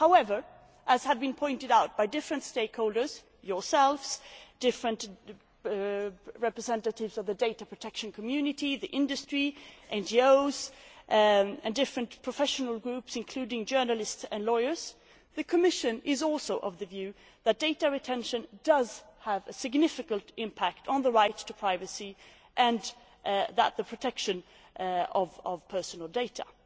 However, as has been pointed out by different stakeholders yourselves, different representatives of the data protection community, the industry, NGOs and different professional groups including journalists and lawyers the Commission is also of the view that data retention has a significant impact on the right to privacy and the protection of personal data.